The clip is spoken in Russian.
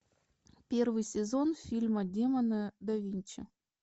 первый сезон фильма демоны да винчи